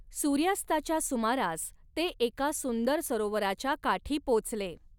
सूर्यास्ताच्या सुमारास ते एका सुंदर सरोवराच्या काठी पोचले.